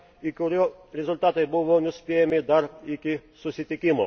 ir kurio rezultatai buvo nuspėjami dar iki susitikimo.